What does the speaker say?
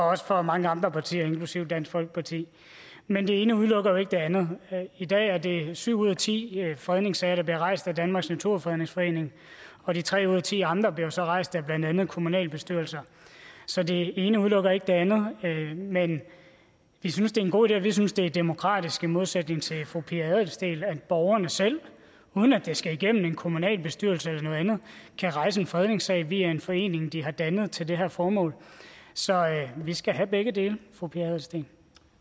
også fra mange andre partier inklusive dansk folkeparti men det ene udelukker jo ikke det andet i dag er det syv ud af ti fredningssager der bliver rejst at danmarks naturfredningsforening og de tre ud af ti andre bliver jo så rejst af blandt andet kommunalbestyrelser så det ene udelukker ikke det andet men vi synes det er en god idé og vi synes det er demokratisk i modsætning til fru pia adelsteen at borgerne selv uden at det skal igennem en kommunalbestyrelse eller noget andet kan rejse en fredningssag via en forening de har dannet til det her formål så vi skal have begge dele fru pia adelsteen